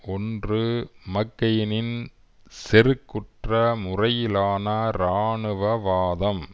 ஒன்று மக்கெயினின் செருக்குற்ற முறையிலான இராணுவ வாதம்